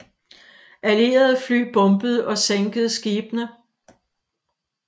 Allierede fly bombede og sænkede skibene